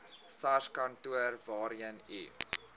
sarskantoor waarheen u